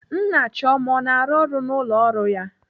Nna Chioma ọ na-arụ ọrụ n'ụlọ ọrụ ya?